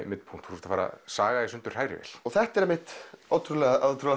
Midpunkt þú ert að fara að saga í sundur hrærivél þetta er einmitt ótrúlega